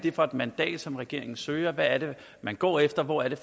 er for et mandat som regeringen søger hvad det er man går efter og hvor det